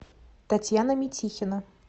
татьяна митихина